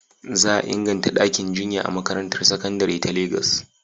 Za a inganta ɗakin jinya a makarantar sakandare ta Legas.